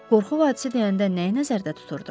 Qorxu vadisi deyəndə nəyi nəzərdə tuturdu?